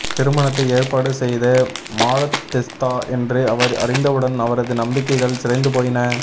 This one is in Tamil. திருமணத்தை ஏற்பாடு செய்த மாலத்தெஸ்தா என்று அவர் அறிந்தவுடன் அவரது நம்பிக்கைகள் சிதைந்து போயின